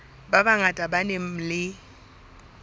ba bangata ba nang le